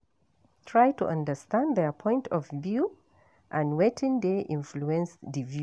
Try to understand their point of view and wetin dey influence di view